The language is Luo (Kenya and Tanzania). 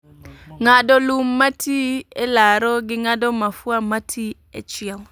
Ng'ado lum matii e laro, gi ng'ado mafua mati e chiel